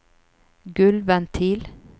gulvventil